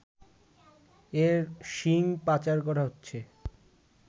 এর শিঙ পাচার করা হচ্ছে